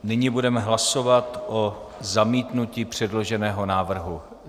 Nyní budeme hlasovat o zamítnutí předloženého návrhu.